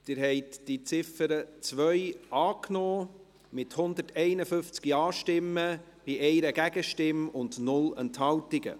Sie haben die Ziffer 2 angenommen, mit 151 Ja-Stimmen bei 1 Gegenstimme und 0 Enthaltungen.